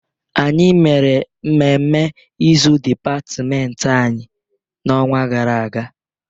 Anyị mere mmemme izu dịpatịmentị anyị n'ọnwa gara aga.